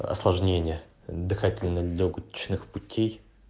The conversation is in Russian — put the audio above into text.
осложнения дыхательно лёгочных путей